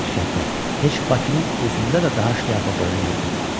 Nəinki kənddə, heç Bakının özündə də daha şlyapa qoyan yox idi.